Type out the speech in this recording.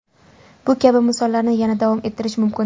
Bu kabi misollarni yana davom ettirish mumkin.